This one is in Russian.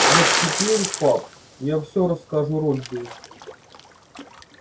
вот теперь папа я все расскажу робби